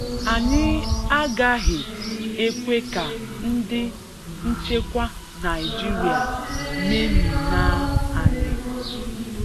Ànyị àgàhị ekwè ká ndị nchekwa Nàịjíríà mèmínà ànyị